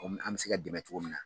O ni an mi se ka dɛmɛ cogo min na